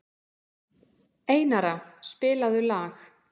Einara, spilaðu lag.